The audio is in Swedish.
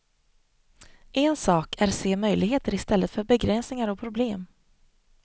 En sak är se möjligheter istället för begränsningar och problem.